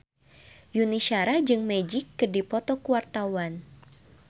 Yuni Shara jeung Magic keur dipoto ku wartawan